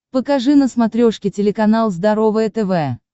покажи на смотрешке телеканал здоровое тв